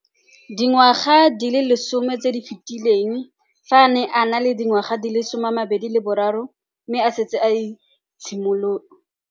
Dingwaga di le 10 tse di fetileng, fa a ne a le dingwaga di le 23 mme a setse a itshimoletse.